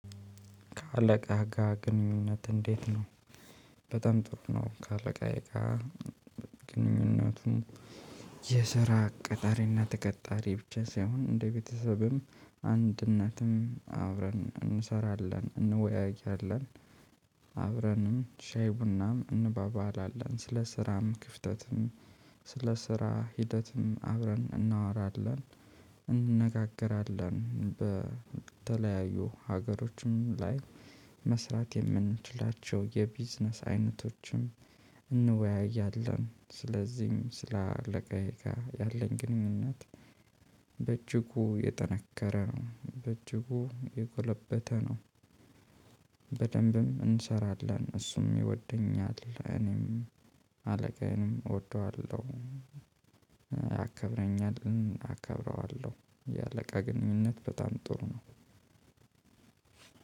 ከአለቃህ ጋ ግንኙነት እንዴት ነው? በጣም ጥሩ ነው። ከአለቃየ ጋ። ግንኙነቱን የስራ ቀጣሪና ተቀጣሪ ብቻ ሳይሆን እንደ ቤተሰብም አንድ እናትም አብረን እንሰራለን እንወያያለን። አብረንም ሻይ ቡናም እንባባላለን ስለ ስራም ክፍተትም ስለ ስራ ሂደትም አብረን እናወራለን። እንነጋገራለን በተለያዩ ሀገሮችም ላይ መስራት የምንችላቸው የቢዝነስ አይነቶችም እንወያያለን ስለዚም ስለ አለቃዬ ጋ ያለኝ ግንኙነት። በእጅጉ የጠነከረ ነው በእጅጉ የጎለበተ ነው። በደንብም እንሰራለን እሱም ይወደኛል እኔም አለቃዬንም እወደዋለው። ያከብረኛል አከብረዋለው የአለቃ ግንኙነት በጣም ጥሩ ነው።